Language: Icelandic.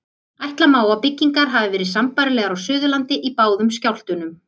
Ætla má að byggingar hafi verið sambærilegar á Suðurlandi í báðum skjálftunum.